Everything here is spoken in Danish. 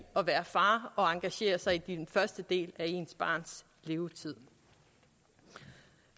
at være far og engagere sig i den første del af ens barns levetid